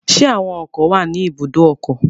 Ṣé àwọn ọkọ̀ wà ní ibùdó ọkọ̀?